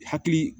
Hakili